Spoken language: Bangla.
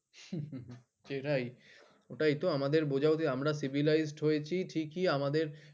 সেটাই ওটাই তো আমাদের বুঝা উচিৎ আমরা civilized হয়েছি ঠিকই আমাদের